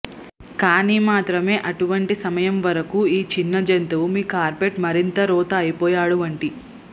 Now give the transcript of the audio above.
కానీ మాత్రమే అటువంటి సమయం వరకు ఈ చిన్న జంతువు మీ కార్పెట్ మరింత రోత అయిపోయాడు వంటి